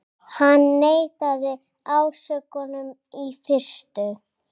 Hann neitaði ásökunum í fyrstu